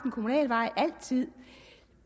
kommunalvej